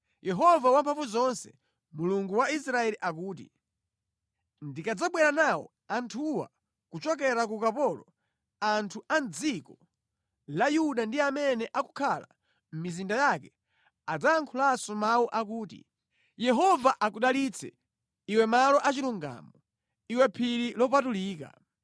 Yehova Wamphamvuzonse, Mulungu wa Israeli akuti, “Ndikadzabwera nawo anthuwa kuchokera ku ukapolo, anthu a mʼdziko la Yuda ndi amene akukhala mʼmizinda yake adzayankhulanso mawu akuti, ‘Yehova akudalitse, iwe malo achilungamo, iwe phiri lopatulika.’